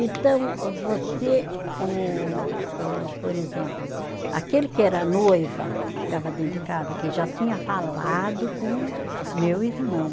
Então, você, o o por exemplo, aquele que era noiva, ficava dentro de casa, que já tinha falado com meu irmão.